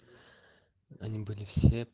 они были все